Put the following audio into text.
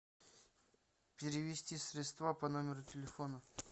перевести средства по номеру телефона